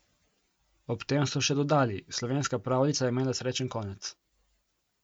Ob tem so še dodali: "Slovenska pravljica je imela srečen konec.